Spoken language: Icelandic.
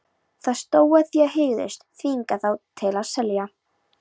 Það stóð, að þið hygðust þvinga þá til að selja